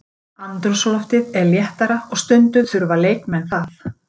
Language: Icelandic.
Andrúmsloftið er léttara og stundum þurfa leikmenn það.